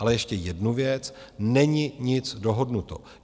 Ale ještě jednu věc: není nic dohodnuto.